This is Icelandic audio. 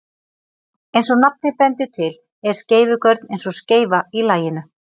Eins og nafnið bendir til er skeifugörn eins og skeifa í laginu.